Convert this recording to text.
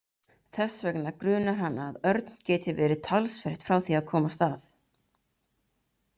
Þess vegna grunar hana að Örn geti verið talsvert frá því að komast að.